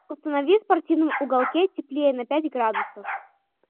установи в спортивном уголке теплее на пять градусов